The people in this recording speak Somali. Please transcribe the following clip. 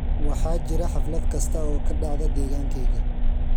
waxaa jira xaflad kasta oo ka dhacda degaankayaga